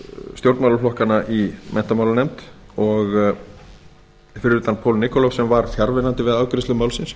stjórnmálaflokkanna í menntamálanefnd fyrir utan paul nikolov sem var fjarverandi við afgreiðslu málsins